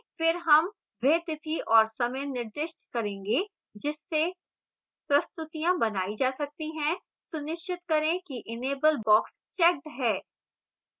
फिर हम वह तिथि और समय निर्दिष्ट करेंगे जिससे प्रस्तुतियाँ बनाई जा सकती हैं सुनिश्चित करें कि enable boxes checked है